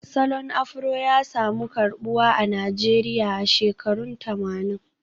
Salon Afro ya samu karbuwa a Najeriya a shekarun tamanin